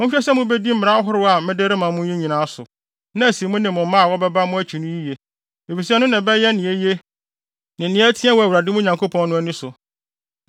Monhwɛ sɛ mubedi mmara ahorow a mede rema mo yi nyinaa so, na asi mo ne mo mma a wɔbɛba wɔ mo akyi no yiye, efisɛ ɛno na ɛbɛyɛ nea eye ne nea ɛteɛ wɔ Awurade, mo Nyankopɔn no ani so.